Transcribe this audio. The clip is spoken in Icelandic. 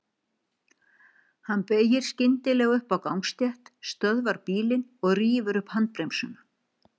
Hann beygir skyndilega upp á gangstétt, stöðvar bílinn og rífur upp handbremsuna.